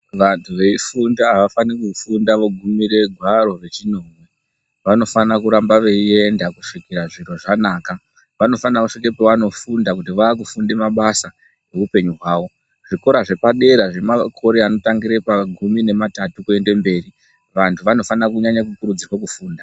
Vantu veifunda havafani kufunde veigume gwaro rechinomwe. Vanofanira kuramba veienda kusvikira zviro zvanaka. Vanofane kusvika pavanofunda kuti vakufunda mabasa eupenyu hwavo. Zvikora zvepadera zvemakore anotangira pagumi nematatu kuenda mberi. Vantu vanofana kunyanya kukurudzira kufunda.